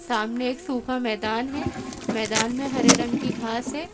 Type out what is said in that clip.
सामने एक सूखा मैदान है मैदान में हरे रंग की घास है।